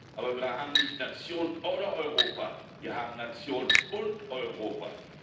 Aber wir haben nicht Nation oder Europa, wir haben Nation und Europa.